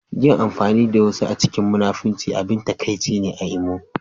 Yin amfani da wasu a cikin munafunci abin takaici ne a Imo